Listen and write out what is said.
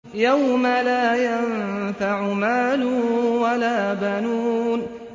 يَوْمَ لَا يَنفَعُ مَالٌ وَلَا بَنُونَ